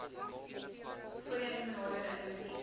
voorheen benadeelde indiwidue